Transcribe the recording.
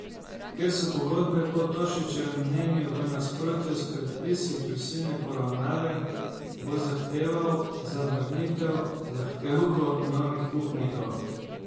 Ker so pogodbe po Tošičevem mnenju v nasprotju s predpisi prisilne poravnave, bo zahteval zavrnitev zahtevkov novih upnikov.